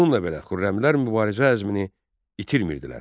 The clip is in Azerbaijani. Bununla belə, xürrəmilər mübarizə əzmini itirmirdilər.